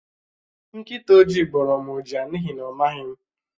Nkịta oji gbórọ́ m ụja n'ihi na ọ maghị m